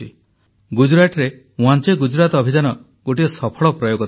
ଗୁଜରାଟରେ ୱାଁଚେ ଗୁଜରାତ ଅଭିଯାନ ଗୋଟିଏ ସଫଳ ପ୍ରୟୋଗ ଥିଲା